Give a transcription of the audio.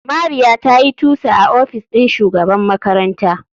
Mariya tayi tusa a ofis ɗin shugaban makaranta.